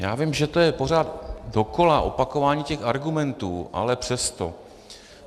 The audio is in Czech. Já vím, že to je pořád dokola opakování těch argumentů, ale přesto.